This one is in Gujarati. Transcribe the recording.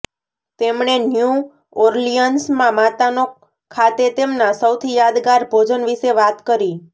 તેમણે ન્યૂ ઓર્લિયન્સમાં માતાનો ખાતે તેમના સૌથી યાદગાર ભોજન વિશે વાત કરી